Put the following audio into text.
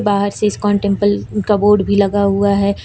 बाहर से ISKCON temple का बोर्ड भी लगा हुआ है।